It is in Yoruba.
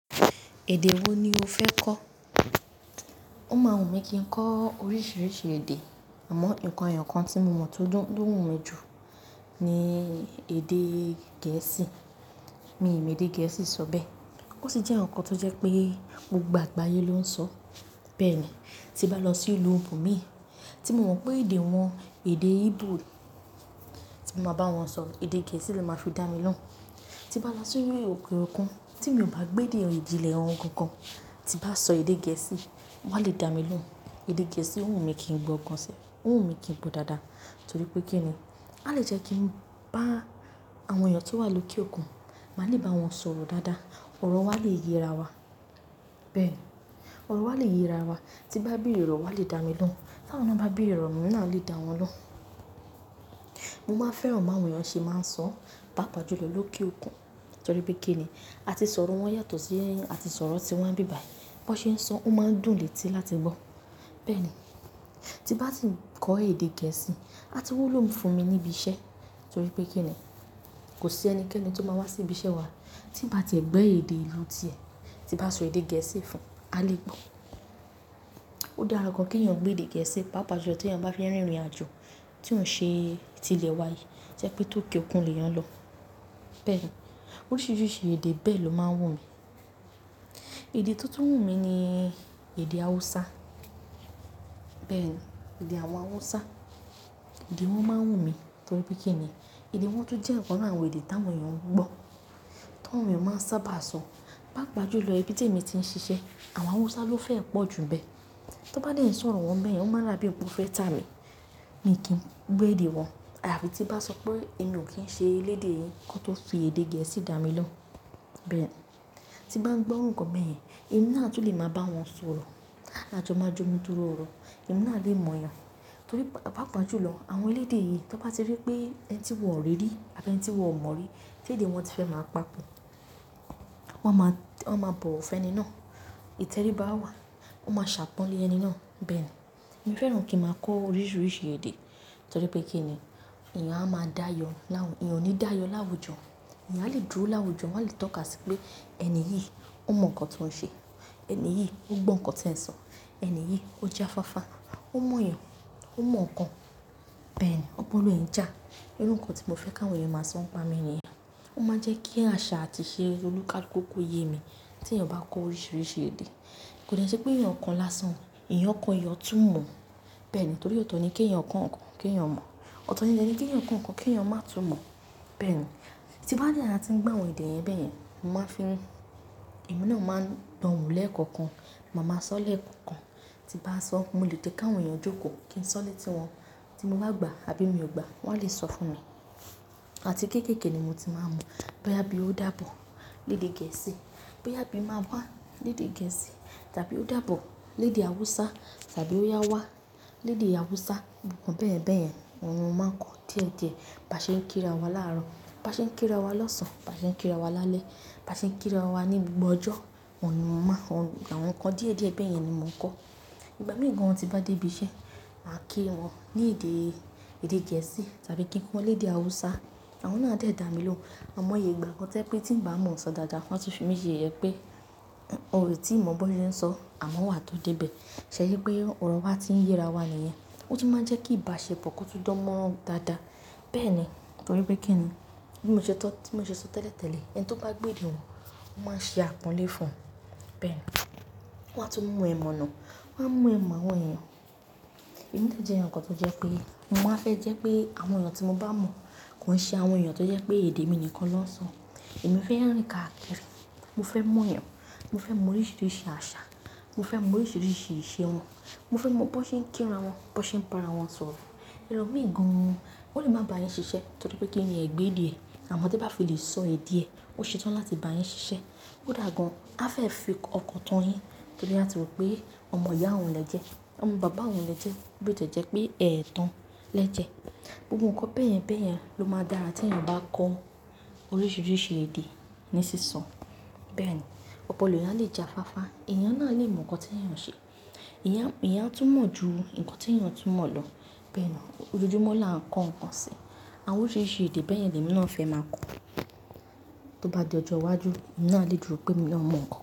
Èdè wo ni o fẹ́ kọ́? Ó máa wùn mí kí n kọ́ oríṣiríṣi èdè, àmọ́ ǹnkan èyokàn tí mo mọ̀ tó dùn, tó wùn mí jù ni èdè gẹ̀ẹ́sì. Mi ì mọ̀ èdè gẹ̀ẹ́sì sọ bẹ́ẹ̀. Ó sì jẹ́ ǹkan tó jẹ́ pé gbogbo àgbáyé ló ń sọ. Bẹ́ẹ̀ ni, tí bá lọ sí ìlú ibo mi, tí mo mọ̀ pé èdè wọn èdè Igbo, tí mo máa bá wọn sọ èdè gẹ̀ẹ́sì ni máa fi dá mi lóhùn. Tí bá lọ sí ilẹ̀ òkè òkun, tí mi ò bá gbéde ìjìnlẹ̀ won gangan, tí bá sọ èdè gẹ̀ẹ́sì, wọn á lè dá mi lóhùn. Èdè gẹ̀ẹ́sì ń wùn mí kí n gbọ́ gan sẹ́, ń wùn mí kí n gbọ́ dáadáa torí pé kí ni, a lè jẹ́ kí ń bá àwọn èèyàn tó wà lókè òkun, màá le bá wọn sọ̀rọ̀ dáadáa. Òrò wa lè yẹra wa. Bẹ́ẹ̀ ni, ọ̀rọ̀ wa lè yẹra wa. Tí n bá beere orò wa lè dá mi lóhùn, tá àwọn na ba beere oro emi náà a lè dá wọn lóhùn. Mo máa n fẹ́ràn bi àwọn eeyàn ṣe máa ń sọ, pàápàá jùlọ lókè òkun torí pé kí ni, àti sọ̀rọ̀ wọn yàtọ̀ sí àti sọ̀rọ̀ tí wa n bí bàyii. Bí wọ́n ṣe ń sọ, ó máa n dùn létí láti gbọ́. Bẹ́ẹ̀ ni, tí bá sì ń kọ́ èdè gẹ̀ẹ́sì, a ti wúlò fún mi níbi iṣẹ́ torí pé kí ni, kò sí ẹnikẹ́ni tó máa wá sí ibi iṣẹ́ wa tí ì bá tiẹ̀ gbo èdè ìlú ti ẹ̀ tí bá sọ èdè gẹ̀ẹ́sì fún, a lè gbọ́. Ó dára gan kí èèyàn gbé èdè gẹ̀ẹ́sì pàápàá jùlọ tí èèyàn bá fẹ́ rin ìrìnàjò tí ò n ṣe ti ilẹ̀ wa yìí, to jẹ́ pé tó kẹ́ òkun lè eeyàn lọ. Bẹ́ẹ̀ ni, oríṣiríṣi èdè bẹ́ẹ̀ ló máa n wù mí. Èdè tó tún wù mí ni èdè hausa. Bẹ́ẹ̀ ni, èdè àwọn awusa. Èdè wọn máa ń wù mí torí pé kí ni, èdè wọn tún jẹ́ ọ̀kan nínú àwọn èdè táwọn èèyàn ń gbọ́, táwọn èèyàn máa ń sábà sọ. Pàápàá jùlọ ibi tí èmi ti ń ṣiṣẹ́, àwọn hausa ló fẹ́ ẹ pọ̀ jù n bẹ́ẹ̀. Tí wọ́n bá dèn ṣọ́ ọ̀rọ̀ wọn n bẹ́ẹ̀ yen, ọ máa n dà bí pe won fẹ́ ta mi. Mi kì n gbọ́ èdè wọn ayafi tí n bá sọ pé èmi ò kí ń ṣe elédè yìí kí wọ́n tó fi èdè gẹ̀ẹ́sì dá mi lóhùn. Bẹ́ẹ̀ ni, tí n bá ń gbọ́ iru nǹkan beyen, èmi náà tún lè máa bá wọn sọ̀rọ̀. A jọ máa jọ mú dúró ọ̀rọ̀. Ẹ̀mí náà lè mọ̀ eeyàn torí pa-pàápàá jùlọ àwọn elédè yìí tí wọ́n bá ti rí pé ẹni tí wọn ò rí rí àbí ẹni tí wọn ò mọ̀ rí, ti èdè wọn ti fẹ́ máa papò. Wọ́n máa, wọ́n máa bọ̀wo fẹ́ni náà. Ítẹrí bá wà, wọ́n máa ṣàpọ́nlé ẹni náà. Bẹ́ẹ̀ ni, èmi fẹ́ràn kí ń máa kọ́ oríṣiríṣi èdè torí pé kí ni, èèyàn a máa dáayọ l'àwùjọ. Ẹ̀èyàn o ní dáayọ l'àwùjọ. Ẹ̀èyàn a lè dúró láwùjọ, wọ́n á lè tọ́ka sí pé ẹni yìí, ó mọ̀ nǹkan tó ń ṣe. Ẹni yìí, ó gbọ́ nǹkan tí ẹ ń sọ. Ẹni yìí, ó ja faafaa. Ó mọ̀ eeyàn. Ó mọ̀ ǹkan. Bẹ́ẹ̀ ni, ọpọlọ e jà irú ǹnkan tí mo fẹ́ kí àwọn èèyàn máa sọ n pa mi ni yen. Ó máa ń jẹ́ kí àṣà àti ìṣe olùkaluku ko yé mi tí èèyàn bá kọ́ oríṣiríṣi èdè. Kò dè n sẹ́ pé èèyàn ko lásán, èèyàn ko èèyàn o tún mọ̀. Bẹ́ẹ̀ ni torí ọ̀tọ̀ ni kí ẹ̀eyàn kọ́ ǹnkan kí ẹ̀eyàn mọ̀. Ọ̀tọ̀ ni, dè ni kí ẹ̀eyàn kọ́ ǹnkan kí ẹ̀eyàn má tún mọ̀. Bẹ́ẹ̀ ni, tí n bá dẹ́ wàti ń gbọ́ àwọn èdè yẹ́n bẹ́ẹ̀ yen, mo máa ń fi, ẹ̀mí náà máa ń dánwò lẹ́ẹ̀kọ̀kan. Máa máa sọ lẹ́ẹ̀kọ̀kan. Tí bá sọ, mo lè jẹ́ káwọn èèyàn jókòó kí ń sọ lẹ́tí wọn tí mo bá gbà àbí mi ò gbà wọ́n á lè sọ fún mi. Àti kéékèèké ni mo ti máa ń mọ̀ bóyá bí ó dàbọ̀ léde gẹ̀ẹ́sì, bóyá bí máa wá léde gẹ̀ẹ́sì tàbí ó dàbọ̀ léde hausa tàbí ó yá wá léde hausa. Nǹkan bẹ́ẹ̀ yen bẹ́ẹ̀ yẹn ohun ni mo máa ń kọ́ díẹ̀díẹ̀. Bi a ṣe ń kí ra wa láàrọ̀, bi a ṣe ń kí ra wa lóṣan, bí a ṣe ń kí ra wa lálẹ́, bí a ṣe ń kí ra wa ní gbogbo ọjọ́. Ọ̀run ni mo máa orun àwọn ǹkan díẹ̀díẹ̀ bẹ́yẹn ni mo ń kọ́. Ìgbà mìí gan an ti n bá dé ibi iṣẹ́, màá kí wọn ní èdè, èdè gẹ̀ẹ́sì tàbí kí wọn léde Hausa. Àwọn náà a de damilohun àimoye ìgbà kan to jẹ́ pé tí ń bá mọ̀ sọ dáadáa, wọ́n á tún fi mí ṣe yeye, ò i tí mọ̀ bi won se ń sọ àmọ́ wà tó dé ibẹ̀. Ṣẹ̀ yẹ pé ọ̀rọ̀ wa ti ń yẹra wa nìyẹn. Ó tun máa ń jẹ́ kí ìbáṣepọ̀ kò tun dánmoran dáadáa. Bẹ́ẹ̀ ni torí pé kí ni, bi mo se to, tí mo ṣe so tẹ́lẹ̀tẹ́lẹ̀ ẹni tí ó bá gbo èdè wọn, wọ́n máa ṣe àpọ́nlé fún wọn. Bẹ́ẹ̀ ni, wọ́n á tún mú ẹ̀ mọ̀nà. Wọ́n á mú ẹ̀ mọ́ àwọn èèyàn. Èmi de jẹ́ eeyan to je pé mo máa fẹ́ jẹ́ pé àwọn èèyàn tí mo bá mọ̀ kò ń ṣe àwọn èèyàn tó jẹ́ pé èdè mi nìkan ló ń sọ. Mo fe rin káàkiri mo fẹ́ mọ̀ ìyàn. Mo fẹ́ mọ̀ oríṣiríṣi àṣà. Mo fẹ́ mọ̀ oríṣiríṣi ìṣe wọn. Mo fẹ́ mọ̀ bí wọ́n ṣe ń kí ra wọn, bí wọ́n ṣe ń bara wọn sọ̀rọ̀. Elomii gan an, ó lè máa bá yín ṣiṣẹ́ torí pé kí ni ẹ o gbo èdè ẹ, àmọ́ te bá fi lè sọ èdè ẹ, ó ṣe tán láti bá yín ṣiṣẹ́. Kódà gan, a fẹ́ fi ọkàn tan yín torí áti rò pé ọmọ ìyá wọn lẹ́jẹ̀, ọmọ bàbá wọn lẹ́jẹ̀ bí ò ṣe jẹ́ pé ẹ̀ẹ́tan lẹ́jẹ̀. Gbogbo nkan beyenbeyen lo maa n dára ti eeyan ba ko oríṣiríṣi èdè ni siso bẹ́ẹ̀ni opolo eeyan a le jáfáfá. Ẹ̀èyàn náà lè mọ̀ ǹkan tí èèyàn ń ṣe. Ìyẹn, eeyan a tún mọ̀ ju nǹkan tí èèyàn tún mọ̀ lọ. Bẹ́ẹ̀ ni, ojoojúmọ́ la ń kọ́ ǹkan si. Àwọn oríṣiríṣi èdè bẹ́ẹ̀ yẹn ni èmi náà fẹ́ máa kọ́. Tó bá di ọjọ́ iwájú, èmi náà lè dúró pé mi ò mọ̀ ǹkan.